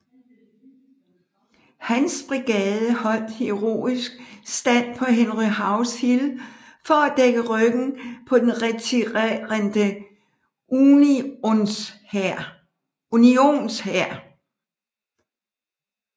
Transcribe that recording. Hans brigade holdt heroisk stand på Henry House Hill for at dække ryggen på den retirerende Unionshær